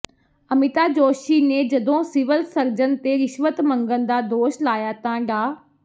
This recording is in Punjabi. ਅਮਿਤਾ ਜੋਸ਼ੀ ਨੇ ਜਦੋਂ ਸਿਵਲ ਸਰਜਨ ਤੇ ਰਿਸ਼ਵਤ ਮੰਗਣ ਦਾ ਦੋਸ਼ ਲਾਇਆ ਤਾਂ ਡਾ